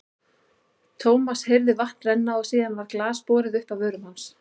Thomas heyrði vatn renna og síðan var glas borið upp að vörum hans.